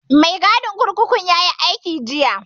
Mai gadin kurkukun yayi aiki jiya